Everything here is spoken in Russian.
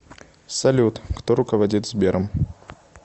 салют кто руководит сбером